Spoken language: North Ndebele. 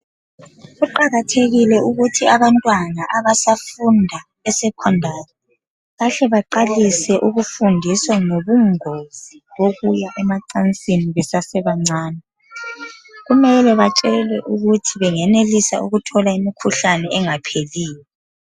Kuqakathekile ukuthi abantwana abasafunda e-secondary, bahle baqalise ukufundiswa ngobungozi bokuya emacansini besase bancane. Kumele batshelwe ukuthi bengenelisa ukuthola imikhuhlane engapheliyo.